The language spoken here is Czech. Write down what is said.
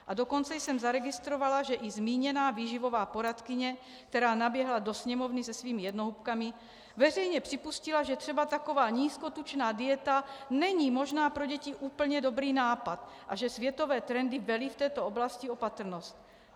A dokonce jsem zaregistrovala, že i zmíněná výživová poradkyně, která naběhla do Sněmovny se svými jednohubkami, veřejně připustila, že třeba taková nízkotučná dieta není možná pro děti úplně dobrý nápad a že světové trendy velí v této oblasti opatrnost.